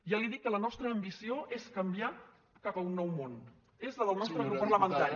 ja li dic que la nostra ambició és canviar cap a un nou món és la del nostre grup parlamentari